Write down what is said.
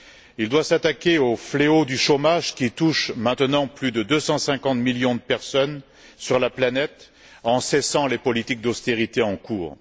Elles doivent s'attaquer au fléau du chômage qui touche maintenant plus de 250 millions de personnes sur la planète, en cessant les politiques d'austérité en cours.